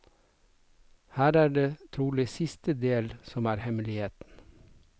Her er det trolig siste del som er hemmeligheten.